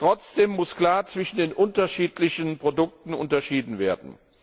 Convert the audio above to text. Trotzdem muss klar zwischen den unterschiedlichen Produkten unterschieden werden.